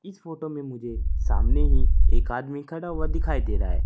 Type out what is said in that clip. इस फोटो में मुझे सामने ही एक आदमी खड़ा हुआ दिखाई दे रहा है।